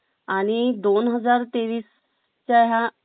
आणि दोन हजार तेवीस च्य ह्य